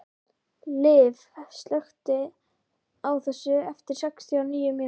Liv, slökktu á þessu eftir sextíu og níu mínútur.